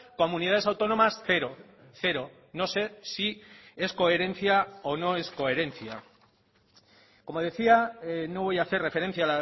comunidades autónomas cero cero no sé si es coherencia o no es coherencia como decía no voy a hacer referencia